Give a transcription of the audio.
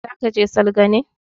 Za ke je salga ne?